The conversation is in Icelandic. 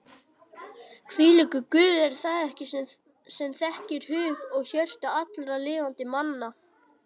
Hvílíkur Guð er það ekki sem þekkir hug og hjörtu allra lifandi manna?